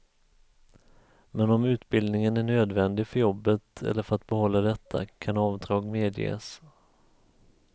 Men om utbildningen är nödvändig för jobbet eller för att behålla detta kan avdrag medges.